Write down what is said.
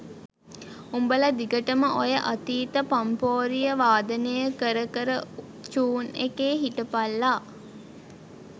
උඹල දිගටම ඔය අතීත පම්පෝරිය වාදනය කර කර චූන් එකේ හිටපල්ලා